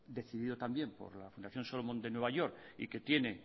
decidido también por la fundación solomon de new york y que tiene